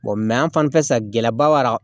an fanfɛ san gɛlɛyaba b'a la